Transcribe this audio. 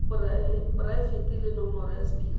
poraefete le nomoro ya sephiri